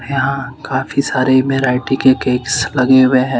यहां काफी सारे के केक्स लगे हुए है।